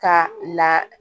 Ka la